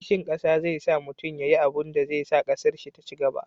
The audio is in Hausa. kishin ƙasa zai sa mutum ya yi abunda zai sa ƙasar shi ta cigaba